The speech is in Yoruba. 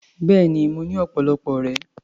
Bẹ́ẹ̀ni, mo ní ọ̀pọ̀lọpọ̀ ọ̀rẹ́.